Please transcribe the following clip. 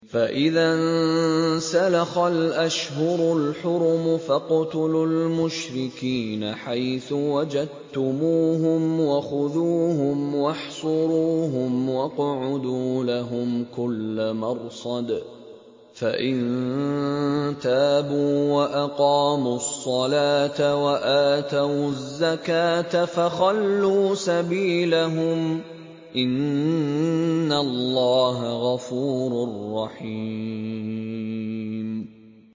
فَإِذَا انسَلَخَ الْأَشْهُرُ الْحُرُمُ فَاقْتُلُوا الْمُشْرِكِينَ حَيْثُ وَجَدتُّمُوهُمْ وَخُذُوهُمْ وَاحْصُرُوهُمْ وَاقْعُدُوا لَهُمْ كُلَّ مَرْصَدٍ ۚ فَإِن تَابُوا وَأَقَامُوا الصَّلَاةَ وَآتَوُا الزَّكَاةَ فَخَلُّوا سَبِيلَهُمْ ۚ إِنَّ اللَّهَ غَفُورٌ رَّحِيمٌ